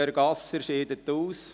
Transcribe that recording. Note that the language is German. Peter Gasser scheidet aus.